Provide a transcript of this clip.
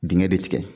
Dingɛ de tigɛ